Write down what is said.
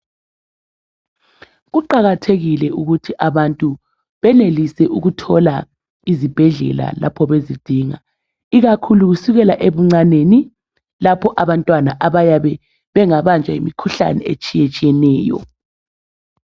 Kuqakathekile ukuthi abantu benelise ukuthola izibhedlela lapho bezidinga ikakhulu kusukela ebuncaneni lapho abantwana abayabe bengabanjwa yimikhuhlane etshiyetshiyeneyo.